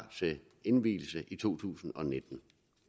til indvielse i to tusind og nitten